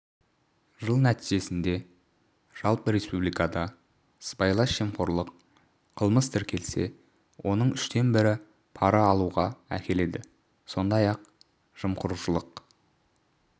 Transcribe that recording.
жыл нәтижесінде жалпы республикада сыбайлас жемқорлық қылмыс тіркелсе оның үштен бірі пара алуға әкеледі сондай-ақ жымқырушылық